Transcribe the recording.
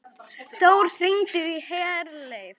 Þór, hringdu í Herleif.